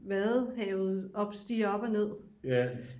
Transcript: vadehavet stiger op og ned